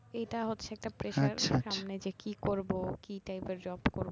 এইটা হচ্ছে একটা pressure আছে সামনে যে কি করবো কি type এর job